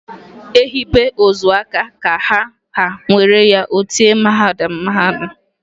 E hibe ozu aka ka a ha nwere ya o tie mhadamha.